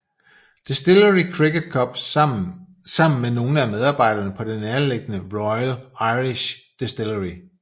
Distillery Cricket Club sammen med nogle af medarbejderne på det nærliggende Royal Irish Distillery